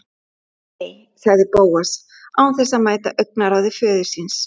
Nei- sagði Bóas án þess að mæta augnaráði föður síns.